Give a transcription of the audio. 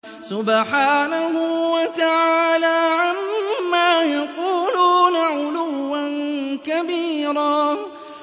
سُبْحَانَهُ وَتَعَالَىٰ عَمَّا يَقُولُونَ عُلُوًّا كَبِيرًا